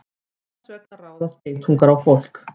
Hvers vegna ráðast geitungar á fólk?